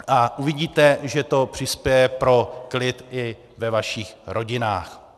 A uvidíte, že to přispěje ke klidu i ve vašich rodinách.